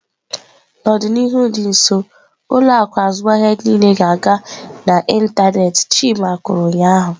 "N'ọdịnihu dị nso, ụlọ akụ azụmahịa niile ga-aga n'ịntanetị" chima kwuru ụnyaahụ.